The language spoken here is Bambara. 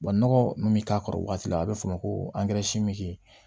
nɔgɔ mun bi k'a kɔrɔ o waati la a be f'o ma ko angɛrɛ si min be